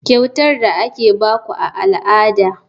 Kyautar da ake ba ku a al'ada.